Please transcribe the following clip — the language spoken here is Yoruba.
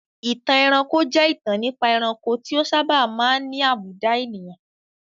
Ìtàn ẹranko jẹ́ ìtàn nípa ẹranko tí ó sábà máa ń ní àbùdá ènìyàn.